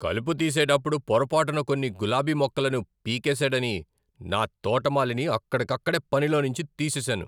కలుపు తీసేటప్పుడు పొరపాటున కొన్ని గులాబీ మొక్కలను పీకేసాడని నా తోటమాలిని అక్కడికక్కడే పనిలోంచి తీసేసాను.